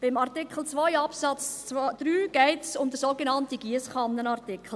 Bei Artikel 2 Absatz 3 geht es um den sogenannten Giesskannenartikel.